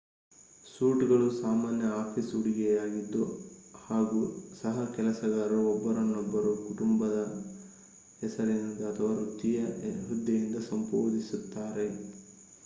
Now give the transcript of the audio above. suit ಗಳು ಸಾಮಾನ್ಯ office ಉಡುಗೆಯಾಗಿದ್ದು ಹಾಗೂ ಸಹಕೆಲಸಗಾರರು ಒಬ್ಬರನ್ನೊಬ್ಬರು ಕುಟುಂಬದ ಹೆಸರಿನಿಂದ ಅಥವಾ ವೃತ್ತಿಯ ಹುದ್ದೆಯಿಂದ ಸಂಬೋಧಿಸುತ್ತಾರೆ